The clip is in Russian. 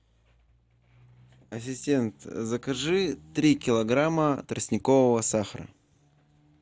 ассистент закажи три килограмма тростникового сахара